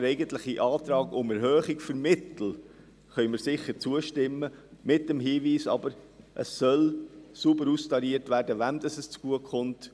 Dem eigentlichen Antrag auf Erhöhung der Mittel können wir sicher zustimmen – aber mit dem Hinweis, dass sauber austariert werden soll, wem es zugute kommt.